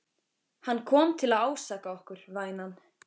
Hann kom til að ásaka okkur, vænan.